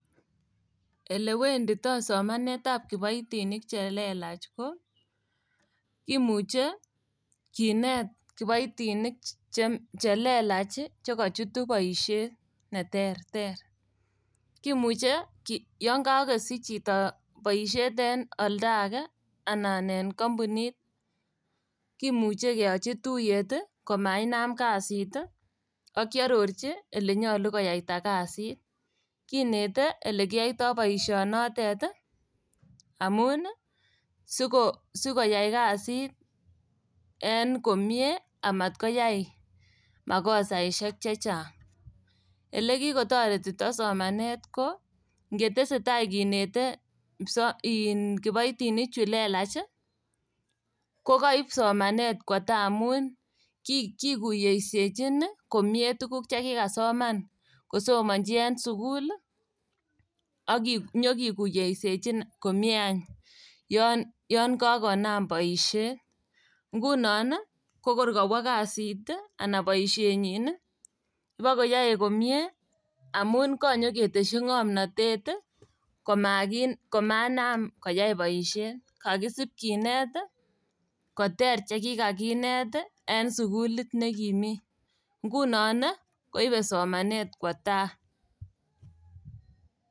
Elewendito somanetab kiboitinik chelelach ko imuche kinet kiboitinik che chelelach ii chekochutu boisiet neterter. Kimuche ki yon kokosich chito boisiet en oldage anan en kompunit kimuche keyochi tuiyet komainam kasit ii ak kiororchi ilenyolu koiyaita kasit. Kinete ilekiyoito boisionotet ii amun sikoyai kasit en komie amatkoyai makosaisiek chechang'. Ilekikotoretito somanet ko ingetesetai kinete kipsoma iin kiboitinik chulelach ii kokoib somanet kwo tai amun kikuyesiechin tuguk chekikasoman kosomonji en sukul ii ak inyokikuyesiechi komie any yon yon kakonam boisiet. Ngunon ii kokor kowo kasit ii ana boisienyin ii ibokoyoe komie amun kanyoketesyi ng'omnotet ii komanam koyai boisiet. Kokisib kinet koter chekikakinet ii en sukulit nekimi, ngunon ii koibe somanet kwo tai.